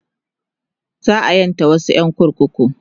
za'a ƴanta wasu ƴan kurkuku